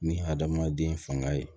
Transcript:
Ni hadamaden fanga ye